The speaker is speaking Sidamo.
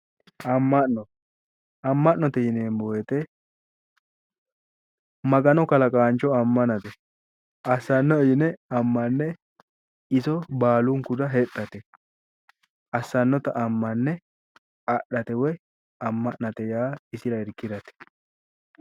amma'no amma'note yineemmowoyite magano kalaqaancho ammnate assannoe yine ammane iso baalunkurira hexxate assannota ammane adhate woyi ammanate yaa isira irkirate.